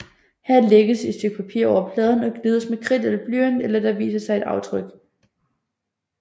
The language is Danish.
Her lægges et stykke papir over pladen og gnides med kridt eller blyant til der viser sig et aftryk